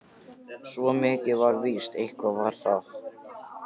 Svo mikið var víst: eitthvað var að.